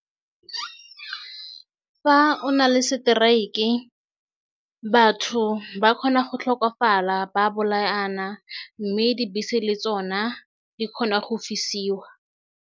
Fa o na le strike e batho ba kgona go tlhokafala ba bolaana mme dibese le tsona di kgona go fisiwa.